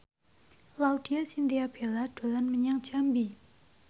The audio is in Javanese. Laudya Chintya Bella dolan menyang Jambi